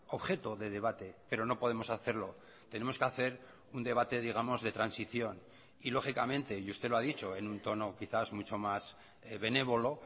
objeto de debate pero no podemos hacerlo tenemos que hacer un debate digamos de transición y lógicamente y usted lo ha dicho en un tono quizás mucho más benévolo